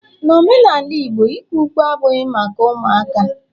N'omenala igbo, ikwe ukwe abughi maka ụmụaka